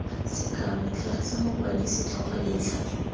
sekao tlhagisa mokwadi setlhogo letlha